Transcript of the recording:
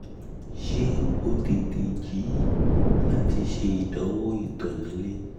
ṣe o tete ju lati ṣe idanwo ito ni ile? two